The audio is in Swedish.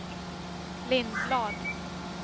Lindblad